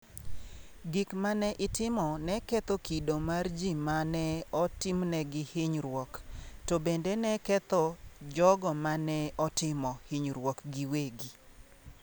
Gik ma ne itimo ne ketho kido mar ji ma ne otimnegi hinyruok, to bende ne ketho jogo ma ne otimo hinyruokno giwegi.